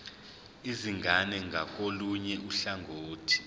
izingane ngakolunye uhlangothi